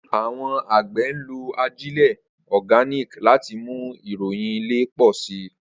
Awọn agbẹ nlo ajile Organic lati mu irọyin ile pọ si.